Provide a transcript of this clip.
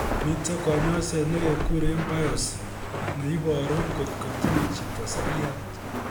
Miten kanyoiset negekuren biopsy neiboru kot ko tinye chito seriat